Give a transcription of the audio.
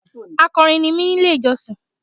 Akọrin ní mi nínú ilé ìjọsìn.